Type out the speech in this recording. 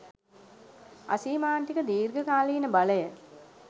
අසීමාන්තික. දීර්ඝ කාලීන බලය